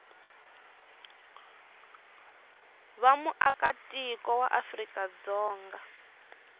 va muakatiko wa afrika dzonga